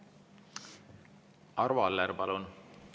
Arvo Aller, palun!